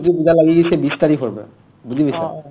ইয়াৰ সৰস্বতী পূজা লাগিছে বিছ তাৰিখৰ পৰা বুজি পাইছা